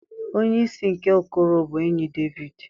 Onye isi nke okoro bụ enyi Devid.